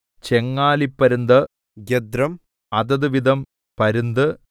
ചെങ്ങാലിപ്പരുന്ത് ഗൃദ്ധ്രം അതതുവിധം പരുന്ത്